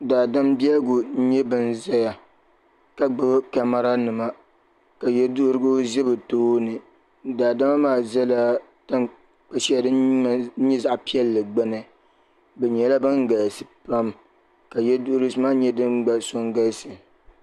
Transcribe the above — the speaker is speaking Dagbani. Daadama bɛligu nyɛ bini ziya ka gbubi kamara nima ka yiɛduhirigu zɛ bi tooni daadama maa zɛla tankpa shɛli dini nyɛ zaɣi piɛlli gbuni bi nyɛli bini galisi pam ka yiɛduhirisi maa nyɛ dini gba so n galisi.